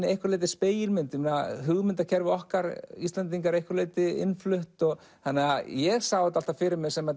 að einhverju leyti spegilmynd hugmyndakerfi okkar Íslendinga er að einhverju leyti innflutt ég sá þetta alltaf fyrir mér sem